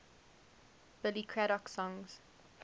billy craddock songs